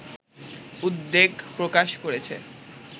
উদ্বেগ প্রকাশ করেছে